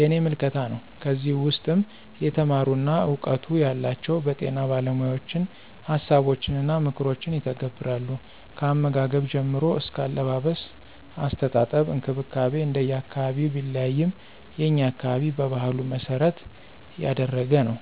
የኔ ምልከታ ነው። ከዚህ ውስም የተማሩና እውቀቱ ያላቸው በጤና ባለሞያዎችን ሀሳቦችንና ምክሮችን ይተገብራሉ። ከአመጋገብ ጀምሮ አስከ አለባበስ፣ አስተጣጠብ እንክብካቤ እንደየ አካባቢው ቢለያይም የኛ አካባቢ በባህሉ መሰረት ያደረገ ነው።